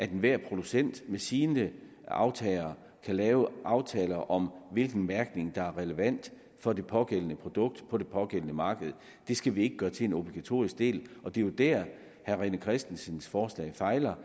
at enhver producent med sine aftagere kan lave aftaler om hvilken mærkning der er relevant for det pågældende produkt på det pågældende marked det skal vi ikke gøre til en obligatorisk del og det er jo dér herre rené christensens forslag fejler